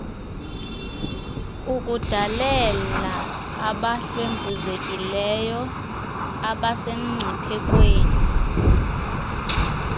ukudalela abahlwempuzekileyo abasemngciphekweni